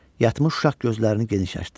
Yatmış uşaq gözlərini geniş açdı.